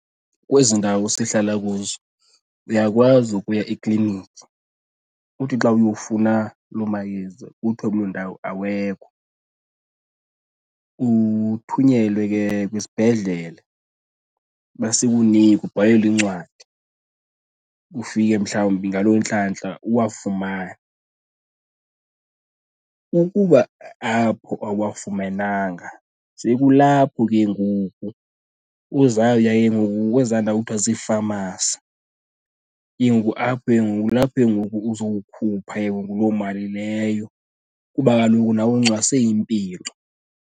Kwezi ndawo sihlala kuzo uyakwazi ukuya ekliniki uthi xa uyofuna loo mayeza kuthiwe kuloo ndawo awekho. Uthunyelwe ke kwisibhedlele uba sikunike, ubhalelwe incwadi, ufike mhlawumbi ngaloo ntlantla uwafumane. Ukuba apho awuwafumenanga sekulapho ke ngoku uzawuya ke ngoku kwezaa ndawo kuthiwa ziifamasi apho ke ngoku, kulapho ke ngoku uzawukhupha ke ngoku loo mali leyo kuba kaloku nawe uncwase impilo.